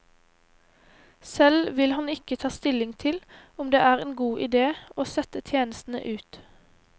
Selv vil han ikke ta stilling til om det er en god idé å sette tjenestene ut.